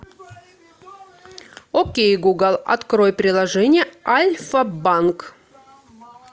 окей гугл открой приложение альфа банк